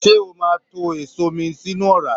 Se o o máa tó èso mii sínú ọra?